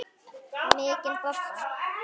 Mikinn bobba.